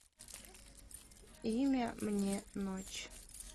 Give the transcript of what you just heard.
имя мне ночь